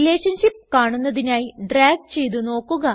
relationship കാണുന്നതിനായി drag ചെയ്ത് നോക്കുക